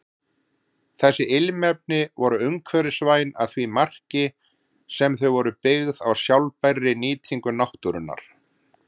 Þessi ilmefni voru umhverfisvæn að því marki sem þau voru byggð á sjálfbærri nýtingu náttúrunnar.